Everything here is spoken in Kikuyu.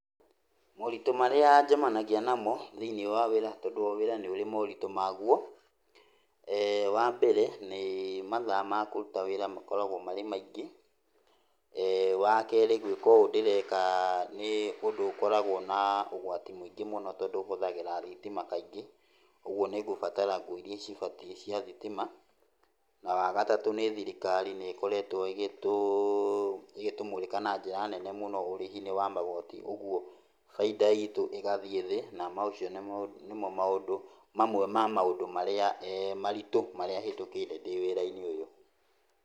Moritũ marĩa njemanagia namo thĩiniĩ wa wĩra tondũ o wĩra nĩũrĩ moritũ maguo, wambere, nĩ mathaa makũruta wĩra makoragwo marĩ maingĩ. Wakerĩ, gwĩka ũũ ndĩreka nĩũndũ ũkoragwo na ũgwati mũingĩ mũno, tondũ hũthagĩra thitima kaingĩ, ũguo nĩngũbatara nguo iria cibatiĩ cia thitima. Na wagatatũ nĩ thirikari nĩkoretwo ĩgĩtũmũrĩka na njĩra nene mũno ũrĩhi-inĩ wa magoti, ũguo bainda itũ ĩgathiĩ thĩ, na macio nĩmo maũndũ mamwe ma maũndũ marĩa maritũ marĩa hĩtũkĩire ndĩ wĩra-inĩ ũyũ.